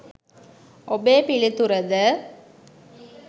ඔබේ පිළිතුර ද